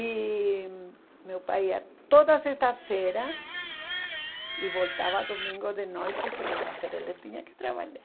E meu pai ia toda sexta-feira e voltava domingo de noite, segunda-feira ele tinha que trabalhar.